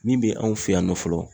Min be anw fɛ yan nɔ fɔlɔ